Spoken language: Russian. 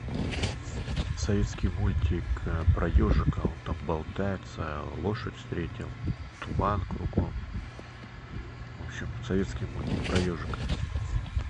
советский мультик про ежика он там болтается лошадь встретил туман кругом в общем советский мультик про ежика